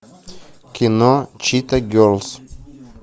кино чита герлз